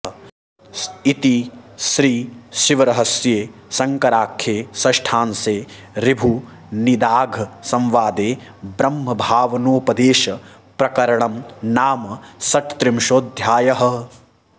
इति श्रीशिवरहस्ये शङ्कराख्ये षष्ठांशे ऋभुनिदाघसंवादे ब्रह्मभावनोपदेशप्रकरणं नाम षट्त्रिंशोऽध्यायः